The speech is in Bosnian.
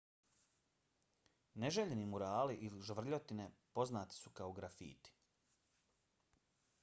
neželjeni murali ili žvrljotine poznati su kao grafiti